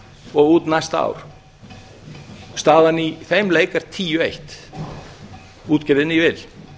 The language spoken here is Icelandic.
og út næsta ár staðan í þeim leik er tíu eitt útgerðinni í vil